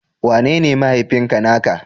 Wanene mahaifinka na ka?